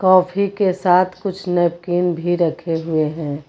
Coffee के साथ कुछ नैपकिन भी रखे हुए हैं।